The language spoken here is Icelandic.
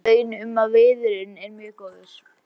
Komst að raun um að viðurinn er mjög góður.